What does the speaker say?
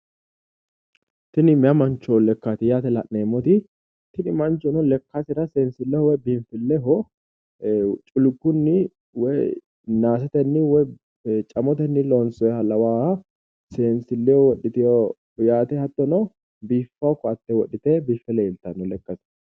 Tini mayi mancho lekkaati yaate la'neemmoti tini manchono lekkasera seensilleho woy biinfilleho culkunni woy naasetenni woy camotenni loonsoyiiha lawaaha seensille wodhiteyo yaate hattono biiffawo ko"atte wodhite biiffe leeltaate lekkate.